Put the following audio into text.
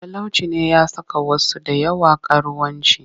Talauci ne ya saka wasu da yawa karuwanci